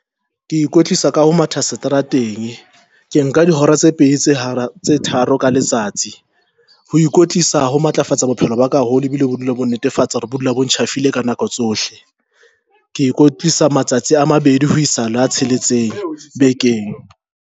Ke ikwetlisa ka ho matha seterateng, ke nka dihora tse pedi tse hara tse tharo ka letsatsi ho ikwetlisa ho matlafatsa bophelo baka haholo, e bile o dula bo netefatsa hore bo dula bo ntjhafile ka nako tsohle. Ke ikwetlisa matsatsi a mabedi ho isa le a tsheletseng bekeng.